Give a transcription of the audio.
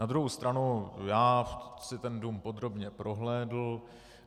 Na druhou stranu já si ten dům podrobně prohlédl.